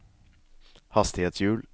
hastighetshjul